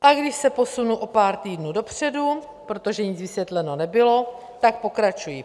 A když se posunu o pár týdnů dopředu, protože nic vysvětleno nebylo, tak pokračuji.